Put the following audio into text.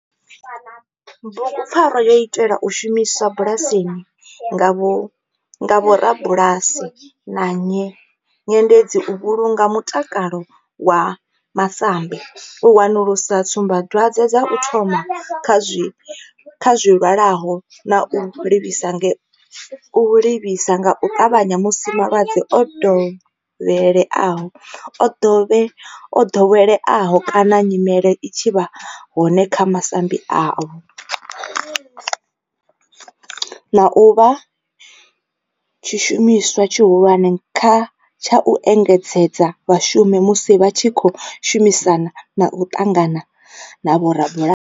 Bugu pfarwa yo itelwa u shumiswa bulasini nga vhorabulasi na nyendedzi u vhulunga mutakalo wa masambi, u wanulusa tsumbadwadzwe dza u thoma kha zwilwalaho na u livhisa nga u tavhanya musi malwadze o doweleaho kana nyimele i tshi vha hone kha masambi avho, na u vha tshishumiswa tshihulwane tsha u engedzedza vhashumi musi vha tshi khou shumisana na u ṱangana na vhorabulasi.